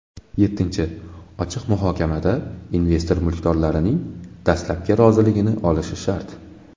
Yettinchi , ochiq muhokamada investor mulkdorlarning dastlabki roziligini olishi shart.